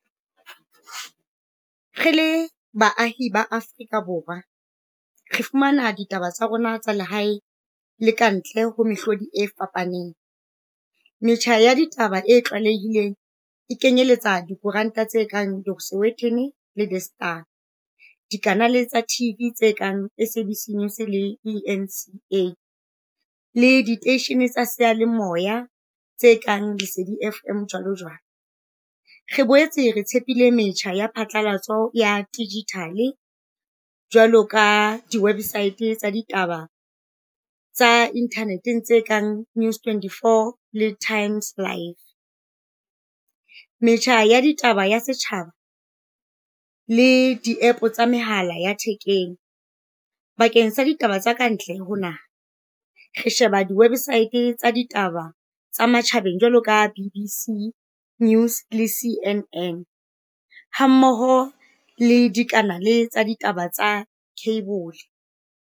Re le baahi ba Afrika Borwa re fumana ditaba tsa rona tsa lehae le ka ntle ho mehlodi e fapaneng. Metjha ya ditaba e tlwalehileng e kenyeletsa dikoranta tse kang the Sowetan le The Star, dikanale tsa TV, tse kang S_A_B_C News le E_N_C_A, le diteisheneng tsa seyalemoya tse kang Lesedi FM jwalo jwalo. Re boetse re tshepile metjha ya phatlalatso ya digital jwalo ka di-website tsa ditaba tsa internet-eng tse kang News Twenty-four Le Times Life. Metjha ya ditaba ya setjhaba le di-App tsa mehala ya thekeng. Bakeng sa ditaba tsa kantle ho naha re sheba di-website tsa ditaba tsa matjhabeng jwalo ka B_B_C News le C_N_N. Hammoho le dikanale tsa ditaba tsa cable.